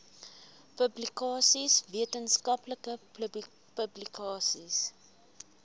publikasies wetenskaplike publikasies